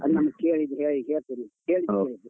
ಅಲ್ಲಿ ನಮ್ಮ ಕೇರಿದು ಕೇಳಿ ಕೇಳಿ ತಗೋಬೇಕು.